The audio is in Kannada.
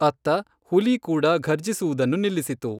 ಅತ್ತ, ಹುಲಿ ಕೂಡ ಘರ್ಜಿಸುವುದನ್ನು ನಿಲ್ಲಿಸಿತು.